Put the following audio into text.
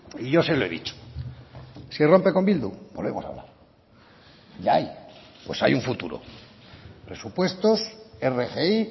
y yo se lo he dicho si rompe con bildu podemos hablar de ahí pues hay un futuro presupuestos rgi